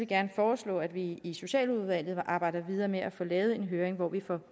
gerne foreslå at vi i socialudvalget arbejder videre med at få lavet en høring hvor vi får